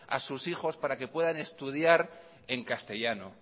a sus hijos para que puedan estudiar en castellano